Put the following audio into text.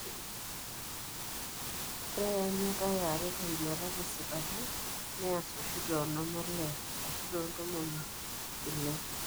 Ore eanyata eare tenduata tesipata neasa oshi toonom olee ashu toontomoni ile.